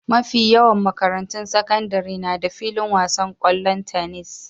Mafi yawan makarantun sakandare na da filin wasan ƙwallon tenis.